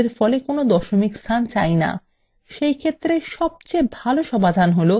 ধরা যাক আমরা আমাদের ফলে কোনো দশমিক স্থান চাই now